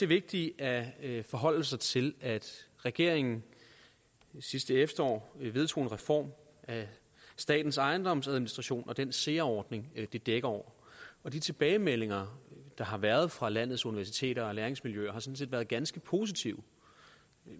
vigtigt at forholde sig til at regeringen sidste efterår vedtog en reform af statens ejendomsadministration og den særordning det dækker over de tilbagemeldinger der har været fra landets universiteter og læringsmiljøer har sådan set været ganske positive